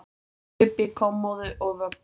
Kaupi kommóðu og vöggu.